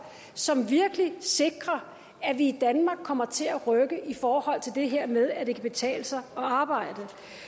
som virkelig sikrer at vi i danmark kommer til at rykke i forhold til det her med at det kan betale sig at arbejde